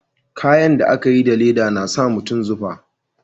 Kayan da a ka yi da leda na sa mutum zufa